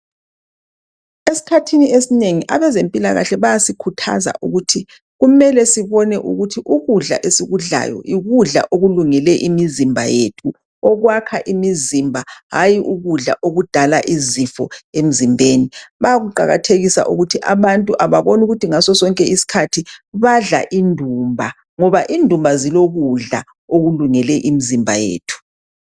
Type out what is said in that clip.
Esikhathini esinengi abazempilakahle bayasikhuthaza ukuthi kumele sibone ukuthi ukudla esikudlayo yikudla okulungele imizimba yethu ,okwakha imizimba hayi ukudla okudala izifo emzimbeni. Bayakuqakathesa ukuthi abantu ababone ukuthi ngaso sonke isikhathi badla indumba ngoba indumba zilokudla okulungele imizimba yethu .